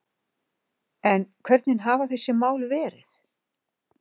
En hvernig hafa þessi mál verið